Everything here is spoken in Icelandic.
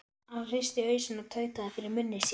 Hann hristi hausinn og tautaði fyrir munni sér